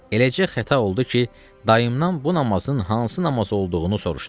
Eləcə xəta oldu ki, dayımdan bu namazın hansı namaz olduğu olduğunu soruşdum.